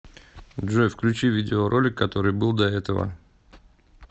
джой включи видео ролик который был до этого